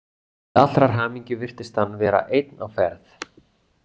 Til allrar hamingju virtist hann vera einn á ferð.